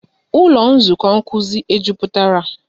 Ụlọ nzukọ nkuzi e jupụtara?